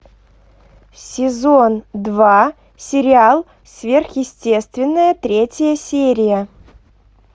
сезон два сериал сверхъестественное третья серия